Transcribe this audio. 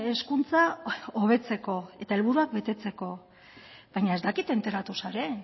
hezkuntza hobetzeko eta helburuak betetzeko baina ez dakit enteratu zaren